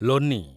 Loni